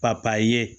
Papaye ye